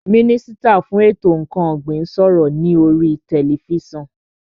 Mínísítà fún ètò ǹkan ọ̀gbìn ń sọ̀rọ̀ ní oríi tẹlifísàn